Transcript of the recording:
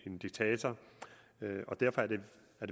en diktator og derfor er det